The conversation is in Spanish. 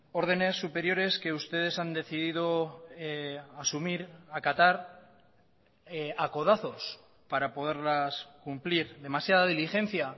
órdenes superiores que ustedes han decidido asumir acatar a codazos para poderlas cumplir demasiada diligencia